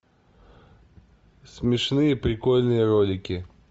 смешные прикольные ролики